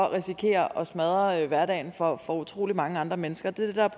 risikerer at smadre hverdagen for for utrolig mange andre mennesker det er